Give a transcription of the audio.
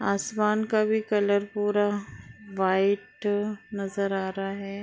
आसमान का भी कलर पूरा व्हाइट नज़र आ रहा है।